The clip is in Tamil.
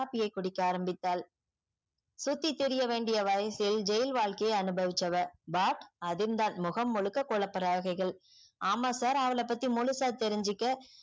coffee யே குடிக்க ஆரம்பித்தால் சுத்திதிரிய வேண்டிய வயசில் ஜெயில் வாழ்க்கை அனுபவிச்சவ but அதிர்ந்தால் முகம் முழுக்க கொளுப்புரரைககள் ஆமா sir அவல பத்தி முழுசா தேரிச்சிக்க